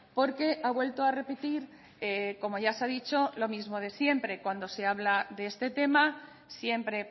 porque ha vuelto a repetir como ya se ha dicho lo mismo de siempre cuando se habla de este tema siempre